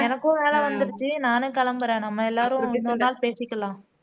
எனக்கும் வேலை வந்துருச்சு நானும் கிளம்புறேன் நம்ம எல்லாரும் ஒரு நாள் பேசிக்கலாம்